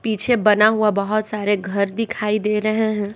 पीछे बना हुआ बहोत सारे घर दिखाई दे रहे हैं।